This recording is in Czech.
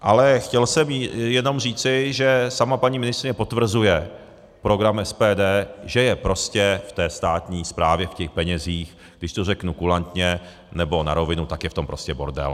Ale chtěl jsem jenom říci, že sama paní ministryně potvrzuje program SPD, že je prostě v té státní správě v těch penězích, když to řeknu kulantně nebo na rovinu, tak je v tom prostě bordel.